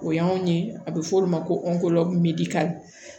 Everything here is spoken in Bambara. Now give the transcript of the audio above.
O y'anw ye a bɛ f'o de ma ko